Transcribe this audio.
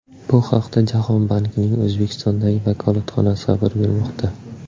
Bu haqda Jahon bankining O‘zbekistondagi vakolatxonasi xabar bermoqda.